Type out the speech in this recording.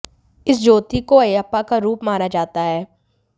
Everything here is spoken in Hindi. इस ज्योति को अयप्पा का रुप माना जाता है